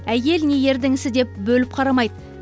әйел не ердің ісі деп бөліп қарамайды